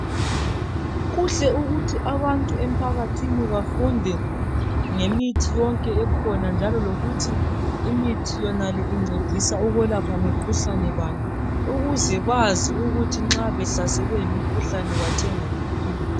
Khuhle ukuthi abantu emphakathini bafunde ngemithi yonke ekhona njalo lokuthi imithi yonale incedisa ukwelapha mikhuhlane bani ,ukuze bazi ukuthi nxa behlaselwe yimikhuhlane bathenga iphi imithi.